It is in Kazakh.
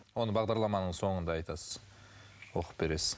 оны бағдарламаның соңында айтасыз оқып бересіз